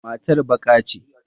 Matar baƙa ce.